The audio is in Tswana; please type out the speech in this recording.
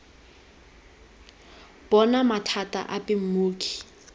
bo na mathata ape mmoki